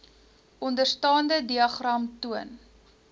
onderstaande diagram toon